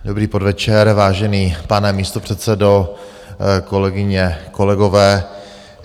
Dobrý podvečer, vážený pane místopředsedo, kolegyně, kolegové.